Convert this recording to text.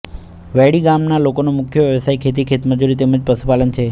વૈડી ગામના લોકોનો મુખ્ય વ્યવસાય ખેતી ખેતમજૂરી તેમ જ પશુપાલન છે